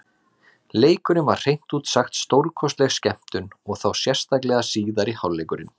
Leikurinn var hreint út sagt stórkostleg skemmtun, og þá sérstaklega síðari hálfleikurinn.